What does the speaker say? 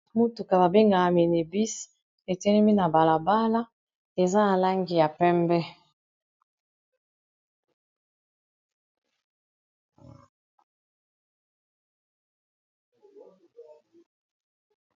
Motuka babengaka minu bus etelemi na balabala eza na langi ya pembe.